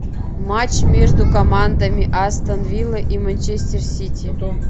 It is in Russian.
матч между командами астон вилла и манчестер сити